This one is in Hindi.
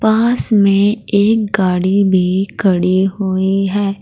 पास में एक गाड़ी भी खड़ी हुई है।